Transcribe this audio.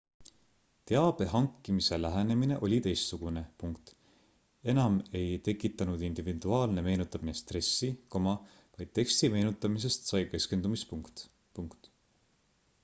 teabe hankimise lähenemine oli teistsugune ename ei tekitanud individuaalne meenutamine stressi vaid teksti meenutamisest sai keskendumispunkt